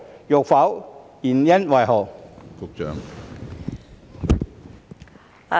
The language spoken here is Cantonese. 若否，原因為何？